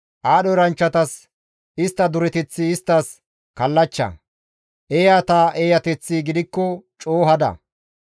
Aadho eranchchatas istta dureteththi isttas kallachcha; eeyata eeyateththi gidikko coo hada.